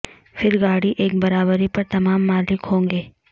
پھر گاڑی ایک برابری پر تمام مالک ہوں گے